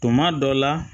Tuma dɔ la